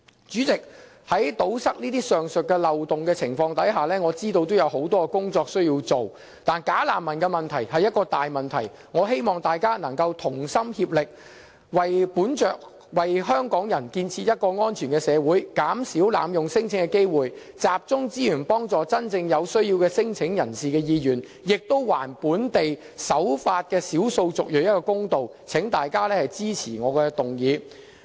主席，我知道要堵塞上述漏洞，我們需要做很多工作，但"假難民"是一個大問題，我希望大家能夠同心協力，為香港人建設一個安全的社會，減少濫用聲請的機會，集中資源幫助真正有需要的聲請人的意願，亦還本地守法的少數族裔一個公道，請大家支持我的議案。